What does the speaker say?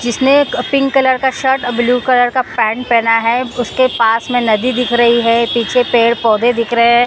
जिसने pink colour का shirt blue colour का पैंट पहना है उसके पास में नदी दिख रही है पीछे पेड़-पौधे दिख रहे हैं।